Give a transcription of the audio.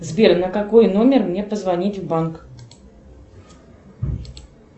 сбер на какой номер мне позвонить в банк